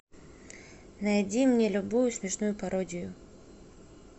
найди мне любую смешную пародию